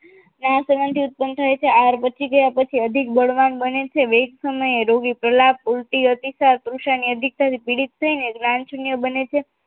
આ સમાન થી ઉત્પન થાય છે અને આ બચી ગયા પછી અધિક બળવાન બને છે વેગ સમયે રોગી પ્રહલા કુર્તી અતિશાત કૃષિ પીડિત થઈને લાનછિય બને છે